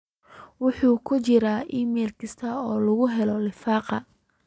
waxa ku jira iimayl kasta oo lagu helo lifaaq